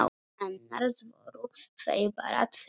Annars voru þau bara tvö.